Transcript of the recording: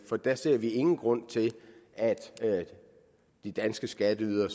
for der ser vi ingen grund til at de danske skatteydere